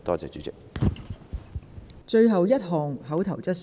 最後一項口頭質詢。